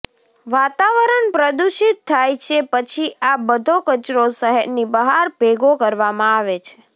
વાતાવરણ પ્રદૂષિત થાય છે પછી આ બધો કચરો શહેરની બહાર ભેગો કરવામાં આવે છે